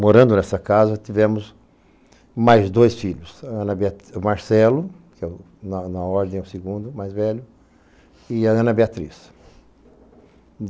Morando nessa casa, tivemos mais dois filhos, o Marcelo, que na ordem é o segundo mais velho, e a Ana Beatriz.